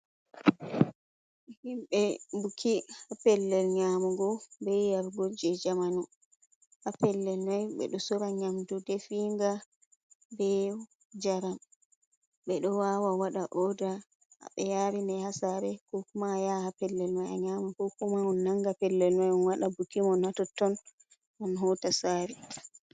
Himbe buki ha pellel nyamugo be yarugo je jamanu, ha pellel man ɓe ɗo sora nyamdu definga be jaram ɓeɗo wawa waɗa oda ɓe yarine havsare kokuma ya ha pellel mai a nyamago koma on nanga pellel mai on wada buki mo natoton on hota sare.